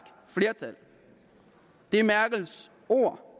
flertal det er merkels ord